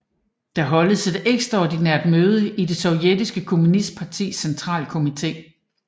Der holdes et ekstraordinært møde i det sovjetiske kommunistpartis centralkomite